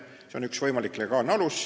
See on üks võimalik legaalne alus.